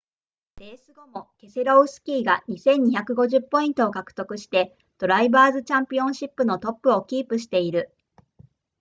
レース後もケセロウスキーが 2,250 ポイントを獲得してドライバーズチャンピオンシップのトップをキープしている